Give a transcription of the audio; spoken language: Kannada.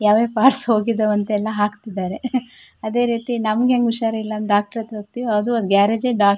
ಯಾವ್ ಯಾವ್ ಪಾರ್ಟ್ಸ್ ಹೋಗಿದವಂತಲ್ಲಾ ಹಾಕತ್ತಿದರೆ ಅದೆರೀತಿ ನಮ್ಮ ಹೆಂಗ ಹುಷಾರಿಲ್ಲಾ ಡಾಕ್ಟರ್ ಹತ್ರ ಹೋಗ್ತಿವಿ ಅದು ಗ್ಯಾರೇಜ್ ಡಾಕ್ಟರ್ .